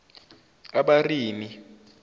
abarimi